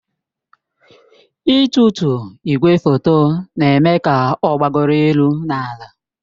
Ịtụtu igwefoto na-eme ka ọ gbagoro elu na ala.